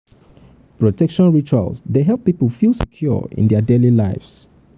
protection rituals dey help pipo feel secure in dia daily lives.